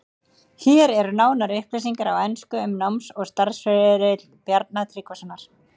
Hér eru nánari upplýsingar á ensku um náms- og starfsferil Bjarna Tryggvasonar.